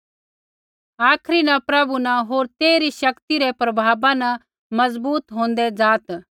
आखरी न प्रभु न होर तेइरी शक्ति रै प्रभावा न मजबूत होंदै जा